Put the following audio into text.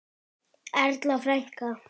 Erla frænka.